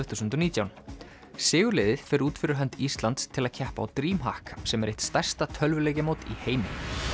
þúsund og nítján sigurliðið fer út fyrir hönd Íslands til að keppa á sem er eitt stærsta tölvuleikjamót í heimi